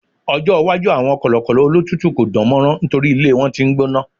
ọjọ iwaju awọn kọlọkọlọ olotutu ko dánmọrán nitori ilé wan t'in n gbóná